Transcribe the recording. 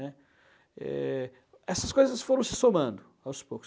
Né? Eh, essas coisas foram se somando aos poucos.